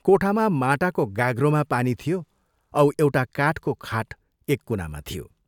कोठामा माटाको गाग्रोमा पानी थियो औ एउटा काठको खाट एक कुनामा थियो।